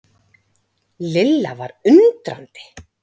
Lilla var undrandi.